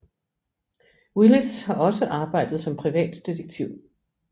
Willis har også arbejdet som privatdetektiv